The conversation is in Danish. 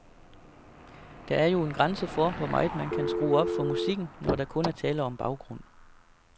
Der er jo en grænse for, hvor meget man kan skrue op for musikken, når der kun er tale om baggrund.